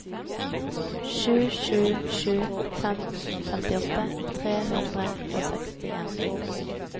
sju sju sju fem femtiåtte tre hundre og sekstien